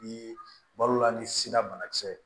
Ni balola ni sira banakisɛ ye